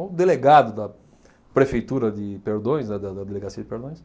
O delegado da Prefeitura de Perdões, né, da da Delegacia de Perdões,